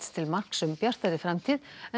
til marks um bjartari framtíð en